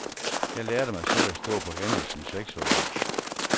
Jeg lærte mig selv at stå på hænder som seksårig.